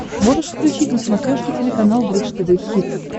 можешь включить на смотрешке телеканал бридж тв хитс